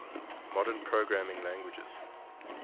modern programming languages